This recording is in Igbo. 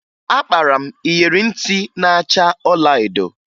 Akpara m iyeri ntị na-acha ọlaedo